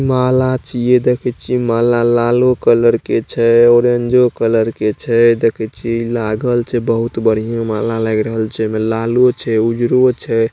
माला छी ये देखी छी माला लालो कलर के छे ओरंजो कलर के छे देखैछी लागल छे बहुत बढ़िया माला लग रहल छे इमें लालो छे उजरो छे।